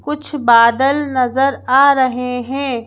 कुछ बादल नजर आ रहे हैं।